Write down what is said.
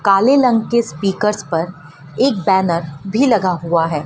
काले रंग के स्पीकर्स पर एक बैनर भी लगा हुआ है।